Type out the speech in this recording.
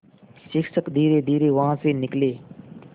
शिक्षक धीरेधीरे वहाँ से निकले